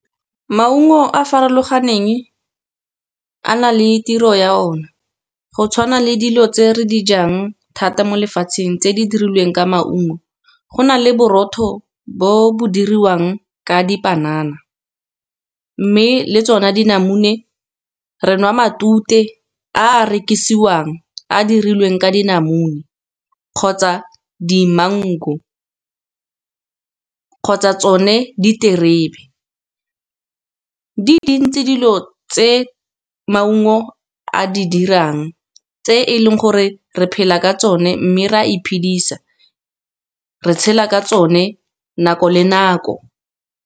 Maungo a a farologaneng a na le tiro ya o ne go tshwana le dilo tse re dijang thata mo lefatsheng, tse di dirilweng ka maungo. Go na le borotho bo bo diriwang ka dipanana, mme le tsona dinamune re nwa matute a a rekisiwang a dirilweng ka dinamune, kgotsa di mango, kgotsa tsone diterebe. Di dintsi dilo tse maungo a di dirang tse e leng gore re phela ka tsone, mme re a iphedisa re tshela ka tsone nako le nako.